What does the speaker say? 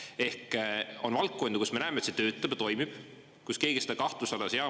Ehk on valdkondi, kus me näeme, et see töötab ja toimib, kus keegi seda kahtluse alla ei sea.